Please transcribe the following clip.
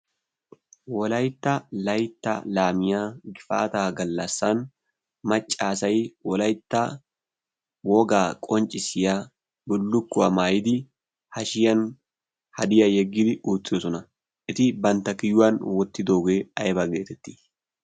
wolaytta laytta laamiya gifaataa gallassan maccaasay wolaytta wogaa qonccissiya bullukkuwaa maayidi hashiyan hadiyaa yeggidi oottidosona eti bantta kiyuwan wottidoogee aybaa geetettii